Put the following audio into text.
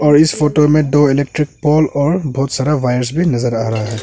और इस फोटो में दो इलेक्ट्रिक पोल और बहुत सारा वायर भी नजर आ रहा है।